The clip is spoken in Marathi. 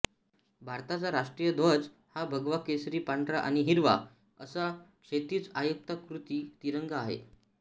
भारताचा राष्ट्रीय ध्वज हा भगवा केशरी पांढरा आणि हिरवा असा क्षैतिज आयताकृती तिरंगा आहे